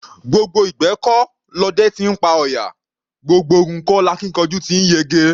Gbogbo ìgbẹ́ kọ́ lọdẹ ti ńpa ọ̀yà; gbogbo ogun kọ́ lakíkanjú ti ńyege.